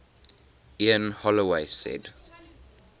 ian holloway said